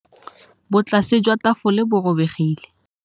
Botlasê jwa tafole bo robegile.